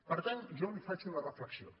per tant jo li faig una reflexió